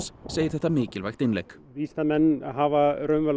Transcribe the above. segir þetta mikilvægt innlegg vísindamenn hafa